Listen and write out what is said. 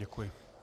Děkuji.